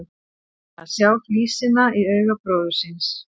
Að sjá flísina í auga bróður síns